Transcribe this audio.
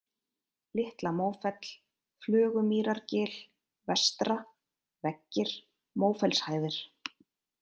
Litla-Mófell, Flögumýrargil vestra, Veggir, Mófellshæðir